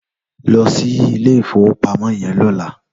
Lò sí ilé ifówópámò yèn lòlá